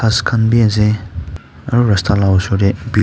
ghas khan b ase aro rasta la ka osor tey .]